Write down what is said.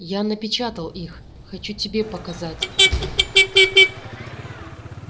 я напечатал их хочу тебе показать